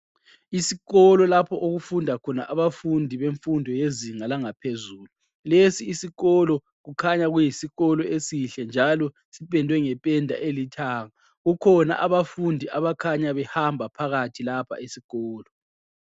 Isikolo lapho okufunda khona abafundi bemfundo yezinga langaphezulu, lesi isikolo kukhanya kuyisikolo esihle njalo sipendwe ngependa elithanga kukhona abafundi abakhanya behamba phakathi lapha esikolo.